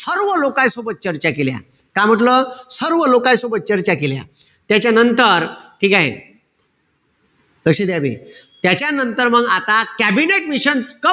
सर्व लोकाय सोबत चर्चा केल्या. का म्हंटल? सर्व लोकाय सोबत चर्चा केल्या. त्याच्यानंतर, ठीकेय? लक्ष द्या बे. त्याच्यानंतर मंग आता कॅबिनेट मिशन,